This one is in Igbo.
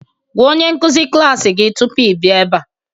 Gwa onye nkuzi klas gị tupu ị bịa ebe a